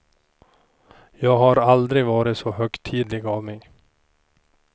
Jag har aldrig varit så högtidlig av mig.